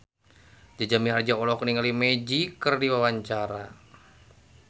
Jaja Mihardja olohok ningali Magic keur diwawancara